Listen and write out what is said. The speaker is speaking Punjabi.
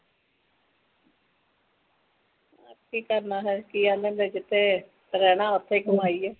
ਕੀ ਕਰਨਾ ਹੋਰ ਇਹ ਕਹਿੰਦਾ ਜਿਥੇ ਰਹਿਣਾ ਓਥੇ ਹੀ ਕਮਾਈ ਏ